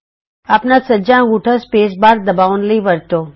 ਆਪਣਾ ਸੱਜਾ ਅੰਗੂਠਾ ਸਪੇਸ ਬਾਰ ਦਬਾਉਣ ਲਈ ਵਰਤੋ